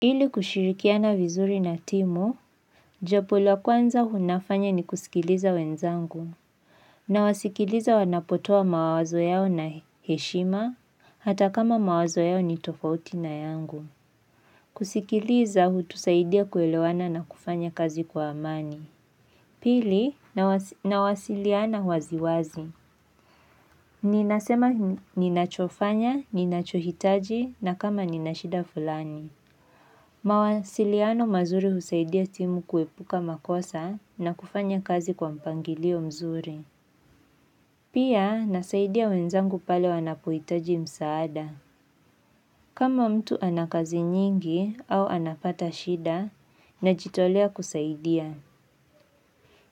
Ili kushirikiana vizuri na timu, jambo la kwanza hunafanya ni kusikiliza wenzangu, nawasikiliza wanapotoa mawazo yao na heshima, hata kama mawazo yao ni tofauti na yangu. Kusikiliza hutusaidia kuelewana na kufanya kazi kwa amani. Pili, nawasiliana wazi wazi. Ninasema ninachofanya, ninachohitaji, na kama ninashida fulani. Mawasiliano mazuri husaidia timu kuepuka makosa na kufanya kazi kwa mpangilio mzuri. Pia nasaidia wenzangu pale wanapoitaji msaada. Kama mtu anakazi nyingi au anapata shida na jitolea kusaidia.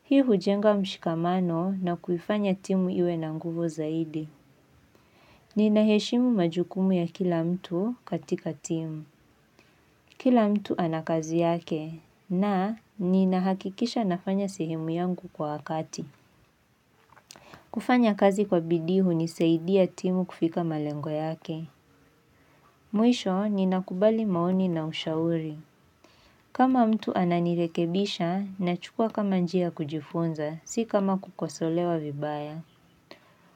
Hii hujenga mshikamano na kufanya timu iwe na nguvu zaidi. Ninaheshimu majukumu ya kila mtu katika timu. Kila mtu anakazi yake na ninahakikisha nafanya sehemu yangu kwa wakati. Kufanya kazi kwa bidii hunisaidia timu kufika malengo yake. Mwisho ninakubali maoni na ushauri. Kama mtu ananirekebisha nachukwa kama njia kujifunza si kama kukosolewa vibaya.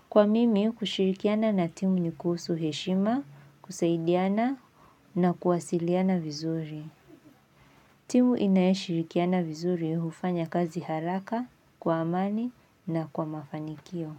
Kwa mimi kushirikiana na timu ni kuhusu heshima, kusaidiana na kuwasiliana vizuri. Timu inaeshirikiana vizuri hufanya kazi haraka, kwa amani na kwa mafanikio.